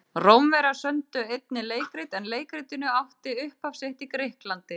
Rómverjar sömdu einnig leikrit en leikritun átti upphaf sitt í Grikklandi.